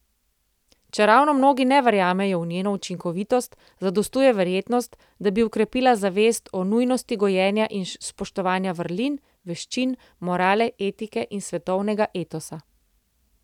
Čeravno mnogi ne verjamejo v njeno učinkovitost, zadostuje verjetnost, da bi okrepila zavest o nujnosti gojenja in spoštovanja vrlin, veščin, morale, etike in svetovnega etosa.